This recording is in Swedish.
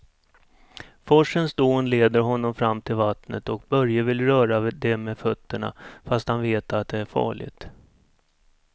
Forsens dån leder honom fram till vattnet och Börje vill röra vid det med fötterna, fast han vet att det är farligt.